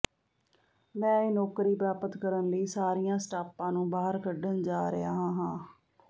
ਮੈਂ ਇਹ ਨੌਕਰੀ ਪ੍ਰਾਪਤ ਕਰਨ ਲਈ ਸਾਰੀਆਂ ਸਟਾਪਾਂ ਨੂੰ ਬਾਹਰ ਕੱਢਣ ਜਾ ਰਿਹਾ ਹਾਂ